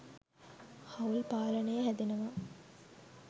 හවුල් පාලනය හැදෙනවා.